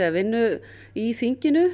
vinnu í þinginu